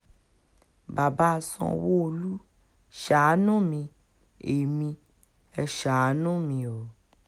bàbá sanwó-olu ṣàánú mi ẹ́ mi ẹ́ ṣàánú mi o